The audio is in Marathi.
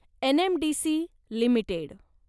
NMDC limited